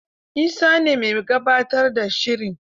Isa ne mai gabatar da shirin.